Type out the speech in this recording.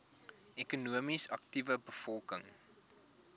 ekonomies aktiewe bevolking